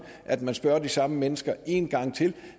at man vil spørge de samme mennesker en gang til